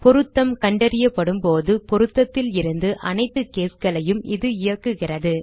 பொருத்தம் கண்டறியப்படும்போது பொருத்தத்திலிருந்து அனைத்து caseகளையும் இது இயக்குகிறது